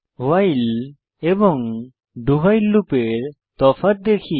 ভাইল এবং do while লুপের প্রকৃত তফাৎ দেখি